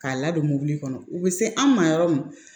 K'a ladon mobili kɔnɔ u bɛ se an ma yɔrɔ min